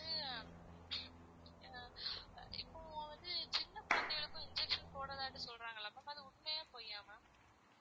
இப்போ வந்து சின்ன குழந்தைகளுக்கும் injection போடலாம்னு சொல்றாங்களே ma'am அது உண்மையா பொய்யா ma'am